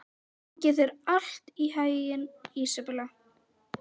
Gangi þér allt í haginn, Ísabella.